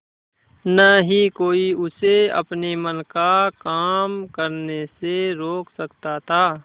न ही कोई उसे अपने मन का काम करने से रोक सकता था